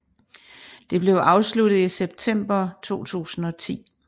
Det blev afsluttet i september 2010